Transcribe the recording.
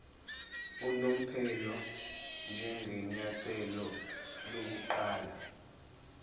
unomphela njengenyathelo lokuqala